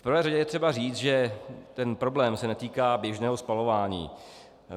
V prvé řadě je třeba říct, že ten problém se netýká běžného spalování.